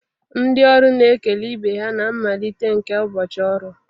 Ndị ọrụ na-ekele ibe ha na mmalite nke ụbọchị ọrụ